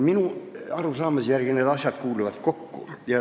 Minu arusaamise järgi need asjad kuuluvad kokku.